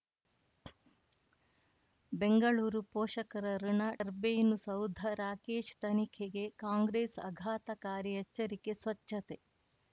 ಬೆಂಗಳೂರು ಪೋಷಕರಋಣ ಟರ್ಬೈನು ಸೌಧ ರಾಕೇಶ್ ತನಿಖೆಗೆ ಕಾಂಗ್ರೆಸ್ ಆಘಾತಕಾರಿ ಎಚ್ಚರಿಕೆ ಸ್ವಚ್ಛತೆ